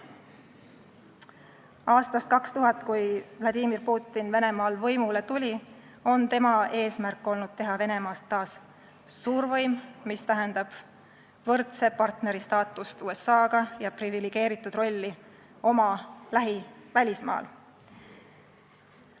Vladimir Putini eesmärk aastast 2000, kui ta Venemaal võimule tuli, on olnud teha Venemaast taas suurvõim, mis tähendab suhetes USA-ga võrdse partneri staatust ja privilegeeritud rolli oma lähivälismaal.